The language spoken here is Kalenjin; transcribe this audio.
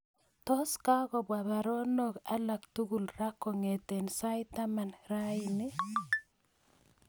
Tos kagopwa baruonok alak tugul raa kongeten saait taman raini